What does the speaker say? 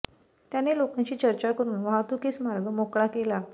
त्यांनी लोकांशी चर्चा करुन वाहतुकीस मार्ग मोकळा केला